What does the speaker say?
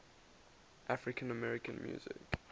african american music